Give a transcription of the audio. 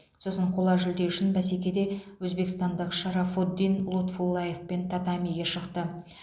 сосын қола жүлде үшін бәсекеде өзбекстандық шарафоддин лутфуллаевпен татамиге шықты